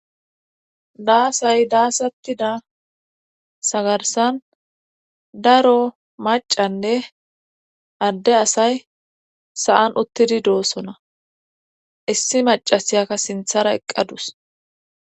Daasay daasatida sagarsan daro macanne adde asay saan uttidi doossona issi macasiyaka sinthara eqqadus.